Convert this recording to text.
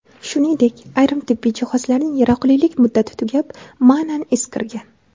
Shuningdek, ayrim tibbiy jihozlarning yaroqlilik muddati tugab, ma’nan eskirgan.